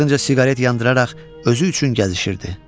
Ardınca siqaret yandıraraq özü üçün gəzişirdi.